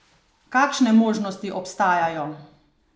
Kakšne možnosti obstajajo?